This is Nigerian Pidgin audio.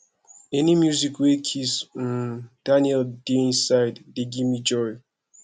any music wey kizz um daniel dey inside dey give me joy